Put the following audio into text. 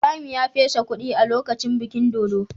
Ibrahim ya fesa kudi a lokacin bikin dodo.